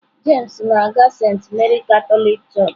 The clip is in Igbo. James na-aga Saint Mary Katọlik Church.